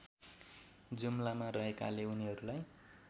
जुम्लामा रहेकाले उनीहरूलाई